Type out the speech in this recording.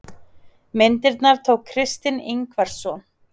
myndina tók kristinn ingvarsson